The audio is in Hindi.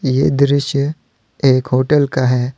ये दृश्य एक होटल का है।